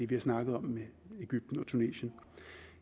vi har snakket om i egypten og tunesien